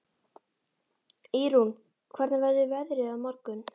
Ýrún, hvernig verður veðrið á morgun?